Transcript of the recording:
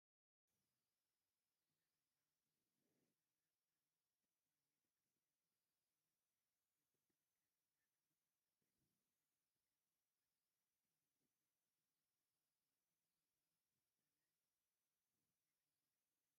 እዛ ናይ ሓወልቲ ስባር ኣብ ጥንታዊ ቤተ ክርስቲያን ኣኽሱም ፅዮን ግቢ ትርከብ እያ፡፡ ካብ ካልኦት ፍልይ ዝገብራ ናይ ጦር ምስሊ ዝተቐረፀላ ምዃኑ እዩ፡፡ እዚ ጥበብ የግርመልኩም ዶ?